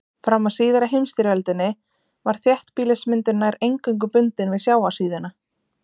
Fram að síðari heimsstyrjöldinni var þéttbýlismyndun nær eingöngu bundin við sjávarsíðuna.